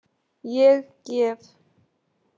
Ég gef.